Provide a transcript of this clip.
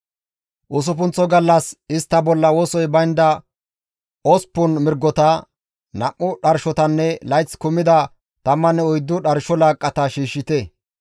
« ‹Usuppunththo gallas istta bolla wosoy baynda osppun mirgota, nam7u dharshotanne layth kumida tammanne oyddu dharsho laaqqata shiishshite.